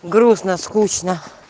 грустно скучно